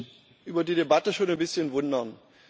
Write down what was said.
Ich muss mich über die Debatte schon ein bisschen wundern.